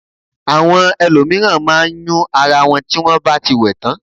Àwọn ẹlòmíràn má a n yún ara won tí wón báti wẹ̀ tàn